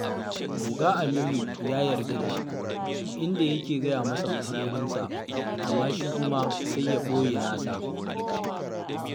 Ogan Aminu ya yarda da shi, inda yake gaya masa matsalolinsa, amma shi kuma sai ya ɓoye nasa